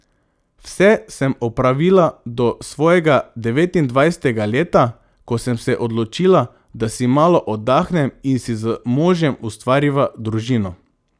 Vse sem opravila do svojega devetindvajsetega leta, ko sem se odločila, da si malo oddahnem in si z možem ustvariva družino.